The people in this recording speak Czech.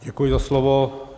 Děkuji za slovo.